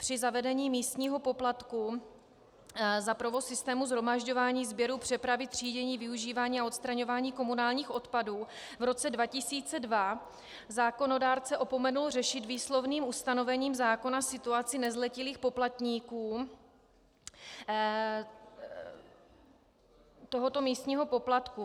Při zavedení místního poplatku za provoz systému shromažďování, sběru, přepravy, třídění, využívání a odstraňování komunálních odpadů v roce 2002 zákonodárce opomenul řešit výslovným ustanovením zákona situaci nezletilých poplatníků tohoto místního poplatku.